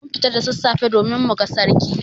Mun fita da sassafe domin muga Sarki.